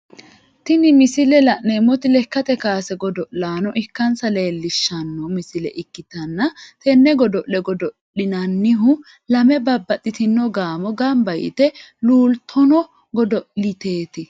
Tini misile la'neemoti lekate kaase godo'laano ikansa leelishano misile ikitanna tene godo'le godo'linnannihu lame babbaxitino gaamo gamba yite luultono godo'leeti.